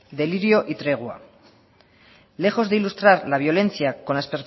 delirio y tregua lejos de ilustrar la violencia con las